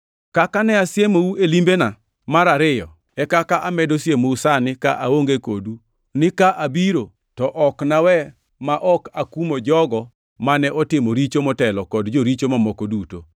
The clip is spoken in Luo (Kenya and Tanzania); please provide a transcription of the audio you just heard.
Kaka ne asiemou e limbena mar ariyo, e kaka amedo siemou sani ka aonge kodu ni ka abiro to ok nawe ma ok akumo jogo mane otimo richo motelo kod joricho mamoko duto